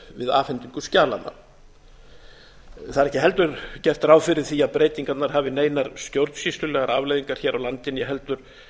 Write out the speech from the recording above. við afhendingu skjalanna það er ekki heldur gert ráð fyrir því að breytingarnar hafi neinar stjórnsýslulegar afleiðingar hér á landi né heldur